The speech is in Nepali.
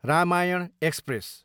रामायण एक्सप्रेस